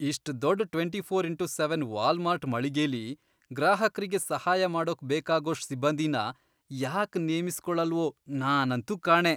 ಇಷ್ಟ್ ದೊಡ್ಡ್ twenty four into seven Walmart ಮಳಿಗೆಲಿ, ಗ್ರಾಹಕ್ರಿಗೆ ಸಹಾಯ ಮಾಡೋಕ್ ಬೇಕಾಗೋಷ್ಟ್ ಸಿಬ್ಬಂದಿನ ಯಾಕ್ ನೇಮಿಸ್ಕೊಳಲ್ವೋ ನಾನಂತೂ ಕಾಣೆ.